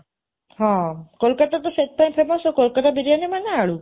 ହଁ, କୋଲକତା ତ ସେଥିପାଇଁ famous, ଆଉ କୋଲକତା ବିରିୟାନୀ ମାନେ ଆଳୁ।